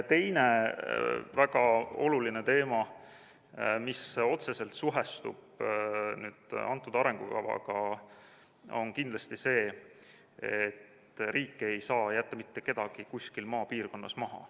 Teine väga oluline teema, mis otseselt suhestub antud arengukavaga, on kindlasti see, et riik ei saa jätta mitte kedagi kuskil maapiirkonnas maha.